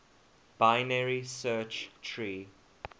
binary search tree